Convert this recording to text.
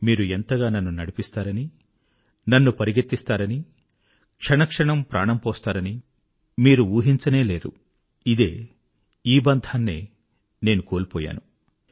మీరు ఎంతగా నన్ను నడిపిస్తారని నన్ను పరుగెత్తిస్తారని క్షణక్షణం ప్రాణం పోస్తారని మీరు ఊహించనేలేరు ఇదే ఈ బంధాన్నే నేను మిస్ అయ్యాను